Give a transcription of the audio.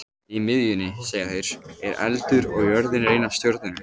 Í miðjunni, segja þeir, er eldur og jörðin er ein af stjörnunum.